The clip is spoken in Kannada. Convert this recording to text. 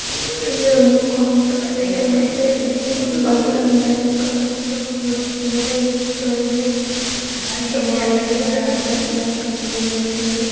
ಇಲ್ಲಿ ಒಂದು ಕಾಂಪ್ಲೆಕ್ಸ್ ಇದೆ ಮತ್ತೆ ಇಲ್ಲಿ ಬಂದನ್ ಬ್ಯಾಂಕ್ ಅಂತ ಕೂಡ ಬೋರ್ಡ್ ಹಾಕಿದ್ದಾರೆ.